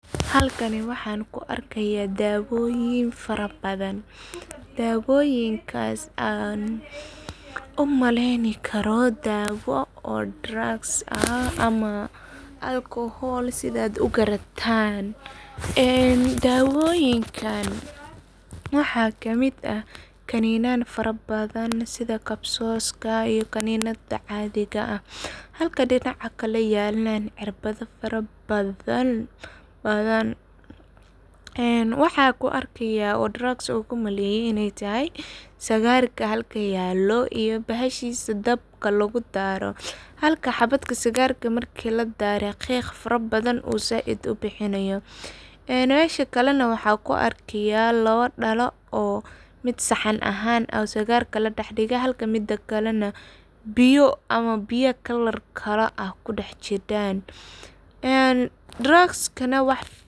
Halkani waxan ku arkaya dawoyin fara badan. Dawoyinkas aan u maleyni karo dawayin oo drugs ah Alcohol sidhad u garatan ee dawoyinkan waxa ka mid dawoyin fara badan sidha kapsoska iyo kaninada cadiga ah. Halka dinaca kale yelan cirbado fara badan waxan ku arkaya oo drugs ogu maleye sigarka halkan yelo iyo bahashisa dabka lagu daro ,halka habadka sigarka marka ladaro uu qiq fara badan zaid u bixinayo ee mesha kalena waxan kuarkaya labo dhalo oo mid sahan ahan ah yahay oo sigarka ladah digo ,halka mida kalana biyo ama biyo kalar kala ah kudah jidan ee drugskana wax.